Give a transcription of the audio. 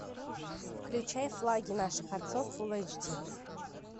включай флаги наших отцов фулл эйч ди